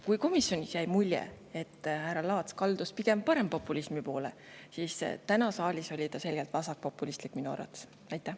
Komisjonis jäi mulje, et härra Laats kaldus pigem parempopulismi poole, kuid täna oli ta saalis minu arvates selgelt vasakpopulistlik.